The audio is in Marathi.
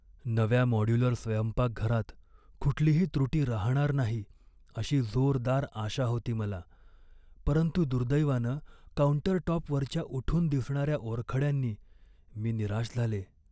नव्या मॉड्यूलर स्वयंपाकघरात कुठलीही त्रुटी राहणार नाही अशी जोरदार आशा होती मला, परंतु दुर्दैवानं काउंटरटॉपवरच्या उठून दिसणाऱ्या ओरखड्यांनी मी निराश झाले.